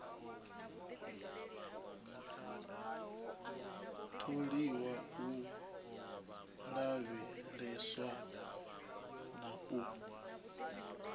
ṱoliwa u lavheleswa na u